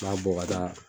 N b'a bɔ ka taa